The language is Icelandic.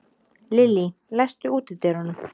Lillý, læstu útidyrunum.